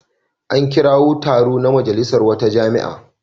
An kirawo taro na majalisar wata jami'a.